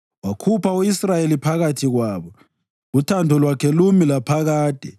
Wakhupha u-Israyeli phakathi kwabo, uthando lwakhe lumi laphakade.